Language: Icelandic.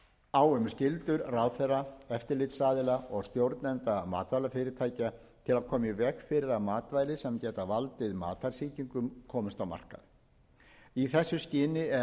kveðið á um skyldur ráðherra eftirlitsaðila og stjórnenda matvælafyrirtækja til að koma í veg fyrir að matvæla sem geta valdið matarsýkingum komist á markað í þessu skyni er meðal annars sett inn